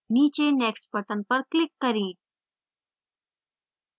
नीचे next button पर click करें